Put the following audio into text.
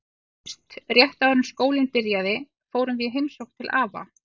Nú í haust, rétt áður en skólinn byrjaði, fórum við í heimsókn til afa.